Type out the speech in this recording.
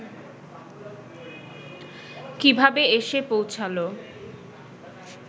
কিভাবে এসে পৌঁছালো